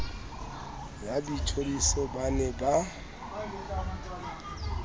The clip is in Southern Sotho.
ya boitjhoriso ba ne ba